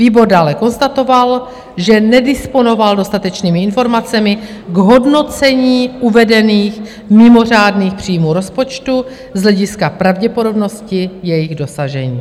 Výbor dále konstatoval, že nedisponoval dostatečnými informacemi k hodnocení uvedených mimořádných příjmů rozpočtu z hlediska pravděpodobnosti jejich dosažení.